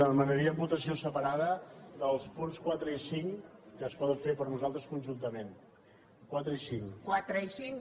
demanaríem votació separada dels punts quatre i cinc que es poden fer per a nosaltres conjuntament quatre i cinc